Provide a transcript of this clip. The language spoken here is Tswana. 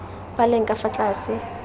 ba leng ka fa tlase